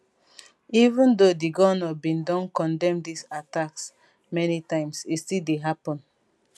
even though di govnor bin don condemn dis attacks many times e still dey happun